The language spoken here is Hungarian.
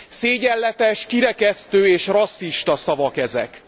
Szégyenletes, kirekesztő és rasszista szavak ezek.